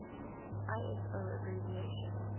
iso abbreviation